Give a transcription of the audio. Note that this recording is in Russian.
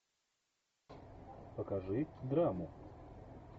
покажи драму